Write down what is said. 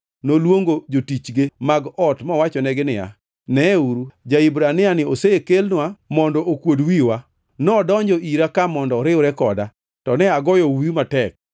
noluongo jotichge mag ot mowachonegi niya, “Neuru, ja-Hibraniani osekelnwa mondo okuod wiwa! Nodonjo ira ka mondo oriwre koda, to ne agoyo uwi matek.